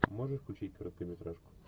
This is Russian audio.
можешь включить короткометражку